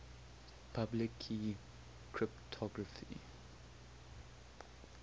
public key cryptography